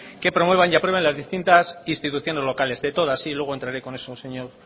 que promuevan y aprueben las distintas instituciones locales de todas sí luego entraré con eso señor